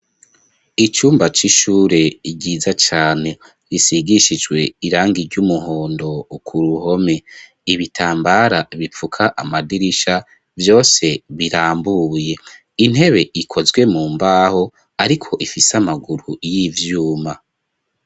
Icumba c'ishure ryiza cane risigishijwe irangi ry'umuhondo ku ruhome ibitambara bipfuka amadirisha byose birambuye intebe ikozwe mu mbaho ariko ifise amaguru y'ivyuma.